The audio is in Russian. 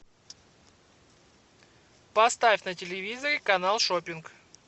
поставь на телевизоре канал шоппинг